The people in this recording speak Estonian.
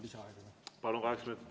Lisaaeg, kokku kaheksa minutit.